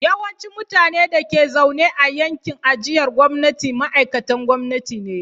Yawancin mutanen da ke zaune a yankin ajiyar gwamnati ma'aikatan gwamnati ne.